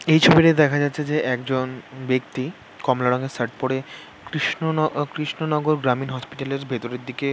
এই ছবিতে দেখা যাচ্ছে যে একজন ব্যাক্তি কমলা রঙের শার্ট পরে কৃষ্ণন অ কৃষ্ণনগর গ্রামীণ হসপিটাল -এর ভিতরের দিকে--